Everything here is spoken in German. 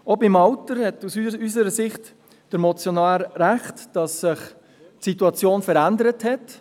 Auch bezüglich des Alters hat der Motionär aus unserer Sicht recht darin, dass sich die Situation verändert hat.